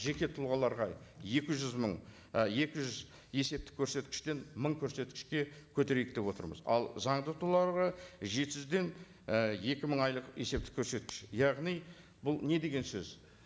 жеке тұлғаларға екі жүз мың і екі жүз есептік көрсеткіштен мың көрсеткішке көтерейік деп отырмыз ал заңды тұлғаларға жеті жүзден і екі мың айлық есептік көрсеткіш яғни бұл не деген сөз